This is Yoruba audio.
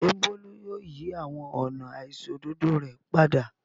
Ṣé Bólú yóò yí àwọn ọ̀nà àìṣòdodo rẹ̀ padà?